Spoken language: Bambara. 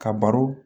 Ka baro